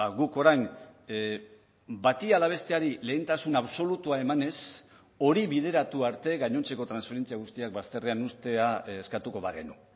guk orain bati ala besteari lehentasun absolutua emanez hori bideratu arte gainontzeko transferentzia guztiak bazterrean uztea eskatuko bagenu